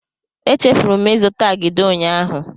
Echefuru m ịzụta agidi ụnyaahụ.